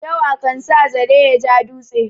Yawa kan sa zare ya ja dutse.